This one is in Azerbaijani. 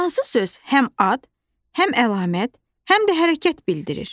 Hansı söz həm ad, həm əlamət, həm də hərəkət bildirir?